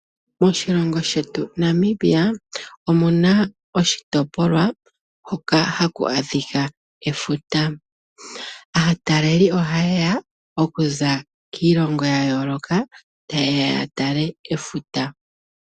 Moshilongo shetu Namibia omuna oshitopolwa hoka haku adhika efuta. Aataleli oha yeya okuza kiilongo yayooloka taye ya yatale efuta.